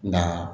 Nka